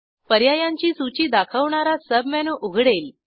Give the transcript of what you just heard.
पर्यायांची सूची दाखवणारा सबमेनू उघडेल